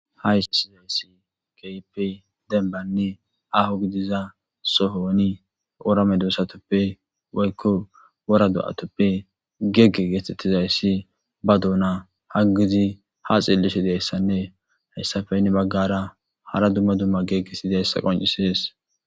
ha ishizayssi keype denbanni aho gidiza sohoni wora medosatoppe woykko wora do7atoppe gegge geetettizayssi ba duuna haggizi ha xeellishi deyssanne hayssafeynni baggara hara dumma dumma geggesidayssa qoncisees